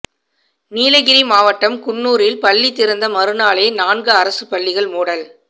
நீலகிரி மாவட்டம் குன்னூரில் பள்ளி திறந்த மறுநாளே நான்கு அரசுப் பள்ளிகள் மூடல்